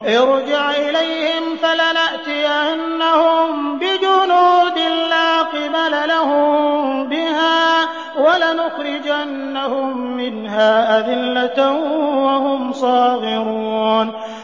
ارْجِعْ إِلَيْهِمْ فَلَنَأْتِيَنَّهُم بِجُنُودٍ لَّا قِبَلَ لَهُم بِهَا وَلَنُخْرِجَنَّهُم مِّنْهَا أَذِلَّةً وَهُمْ صَاغِرُونَ